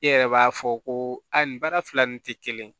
E yɛrɛ b'a fɔ ko a nin baara fila nin tɛ kelen ye